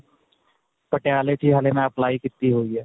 ਪਟਿਆਲੇ 'ਚ ਹੀ ਹੱਲੇ ਮੈਂ apply ਕੀਤੀ ਹੋਈ ਹੈ..